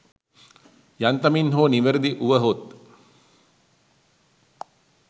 යන්තමින් හෝ නිවැරදි වුවහොත්